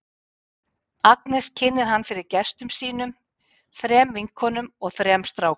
Agnes kynnir hann fyrir gestum sínum, þrem vinkonum og þrem strákum.